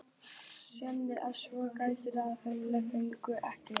Skagamenn áttu svo að fá tvær vítaspyrnu í síðari hálfleik en fengu ekki.